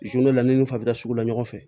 la ni fa bɛ da sugu la ɲɔgɔn fɛ